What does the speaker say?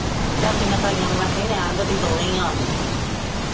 ਚਾਚੀਆਂ ਤਾਈਆਂ ਨੂੰ ਮੈ ਕਿਹਾ ਤੁਸੀਂ ਰਹਿਣ ਦੋ ਦੋਵੇ ਈ ਆ ਜਾਉ।